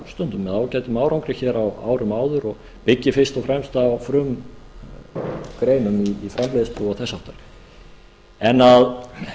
stundum með ágætum árangri hér á árunum áður og byggir fyrst og fremst á frumgreinum um framleiðslu og þess háttar en að